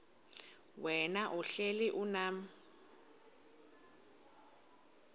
wena uhlel unam